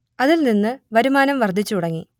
അതിൽ നിന്ന് വരുമാനം വർദ്ധിച്ചു തുടങ്ങി